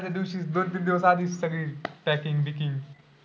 आदल्या दिवशीच दोन तीन दिवसा आधीच सगळे packing बिकिंग.